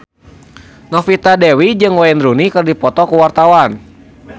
Novita Dewi jeung Wayne Rooney keur dipoto ku wartawan